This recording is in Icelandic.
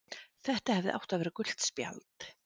Þetta hefði átt að vera gult spjald.